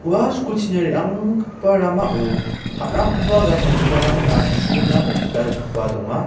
ua skulchina re·anggipa ramao ta·rakgipa gai salgiparangna champengna gita rikgipa donga.